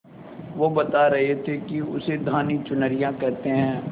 वो बता रहे थे कि उसे धानी चुनरिया कहते हैं